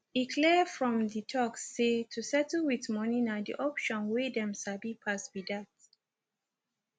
e clear from di tok say to settle with moni na di option wey dem sabi pass be that